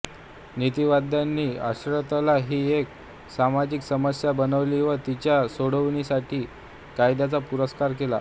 नीतिवाद्यांनी अश्लीलता ही एक सामाजिक समस्या बनविली व तिच्या सोडवणुकीसाठी कायद्याचा पुरस्कार केला